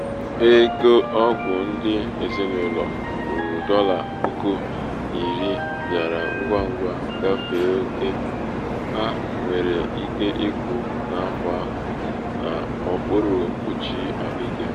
ego ọgwụ ndị ezinụlọ ruru dolla puku iri bịara ngwa ngwa gafee oke ha nwere ike ịkwụ n'afọ ahụ n'okpuru mkpuchi ahụike ha.